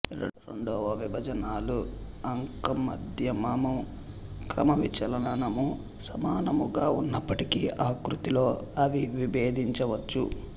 రెండువ విభాజనాల అంకమద్యమము క్రమవిచలనము సమానముగా ఉన్నపటికి ఆకృతిలో అవి విభేదించవచ్చు